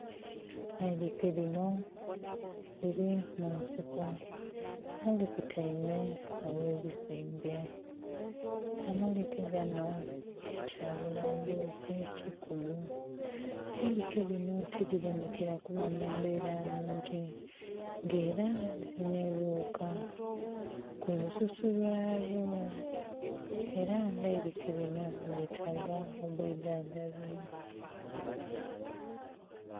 Eilike linho lili munsiko era likuteime ghe bisimbe, amalike ganho kyabulambuzi kikulu, eilike linho tilibonhekela kuba mumbela nnhungi nga era lilinha ebighuka kulu susu lwalyo era nga eilike linho lyetaga obwidha ndhabi.